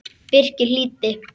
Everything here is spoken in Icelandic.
Birkir hlýddi.